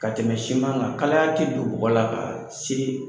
Ka tɛmɛ siman kan kalaya te don bɔgɔ la ka se